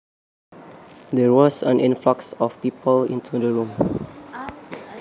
There was an influx of people into the room